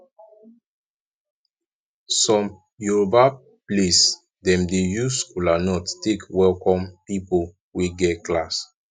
som yoroba place dem dey use kolanut take welkom pipol wey get class